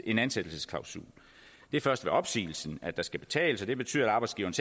en ansættelsesklausul det er først ved opsigelsen at der skal betales og det betyder at arbejdsgiveren